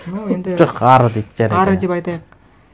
ну енді жоқ ары дейді жарайды ары деп айтайық